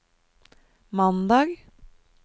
mandag